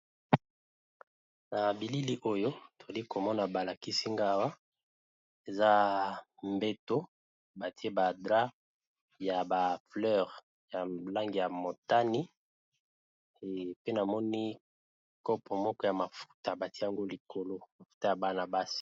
Na bilili oyo toli komona balakisi nga wa eza mbeto batie ba drap ya ba fleur ya langi ya motani pe namoni kopo moko ya mafuta batiango likolo ya ana basi.